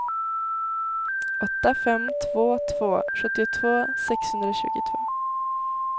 åtta fem två två sjuttiotvå sexhundratjugotvå